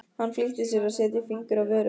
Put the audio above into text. Hann flýtti sér að setja fingur að vörum.